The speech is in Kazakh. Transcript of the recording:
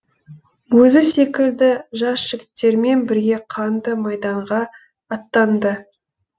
өзі секілді жас жігіттермен бірге қанды майданға аттанды